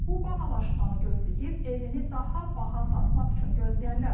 İndi bu bahalaşmanı gözləyib evini daha baha satmaq üçün gözləyənlər var.